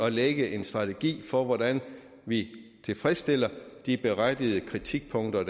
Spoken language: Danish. at lægge en strategi for hvordan vi tilfredsstiller de berettigede kritikpunkter